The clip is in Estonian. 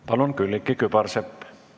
Palun, Külliki Kübarsepp!